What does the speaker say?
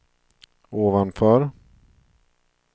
ovanför